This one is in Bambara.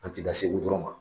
An ti dan segu dɔrɔn ma